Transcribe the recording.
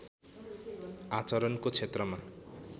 आचरणको क्षेत्रमा